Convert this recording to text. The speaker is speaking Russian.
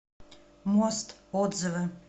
мост отзывы